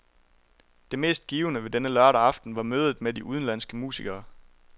Det mest givende ved denne lørdag aften var mødet med de udenlandske musikere.